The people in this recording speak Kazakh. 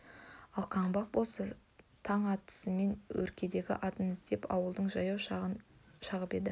ал қаңбақ болса таң атысымен өредегі атын іздеп ауылдан жаяу шығып еді